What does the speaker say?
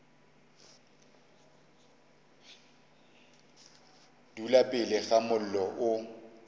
dula pele ga mollo o